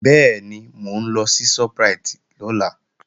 Bẹ́ẹ̀ni, mò ń lọ sí Shoprite lọ́la